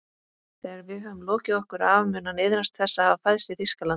Þegar við höfum lokið okkur af mun hann iðrast þess að hafa fæðst í Þýskalandi